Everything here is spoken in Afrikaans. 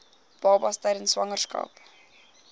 babas tydens swangerskap